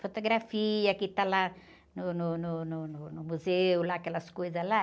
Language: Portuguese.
Fotografia que está lá no, no, no, no, no museu, aquelas coisas lá.